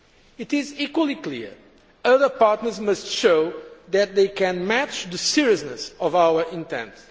It is equally clear other partners must show that they can match the seriousness of our intent.